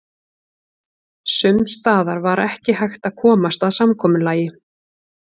Sums staðar var ekki hægt að komast að samkomulagi.